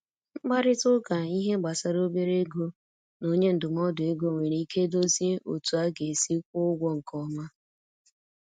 Nkparịta ụka ihe gbasara obere ego na onye ndụmọdụ ego nwere ike dozie otú a ga-esi kwụọ ụgwọ nke ọma.